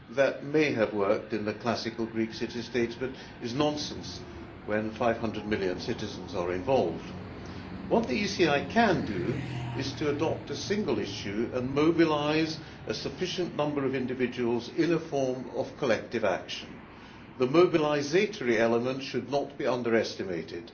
That may have worked in the classical Greek city states but is nonsense when 500 million citizens are involved. What the ECI can do is to adopt a single issue and mobilise a sufficient number of individuals in a form of collective action. The mobilisatory element should not be underestimated.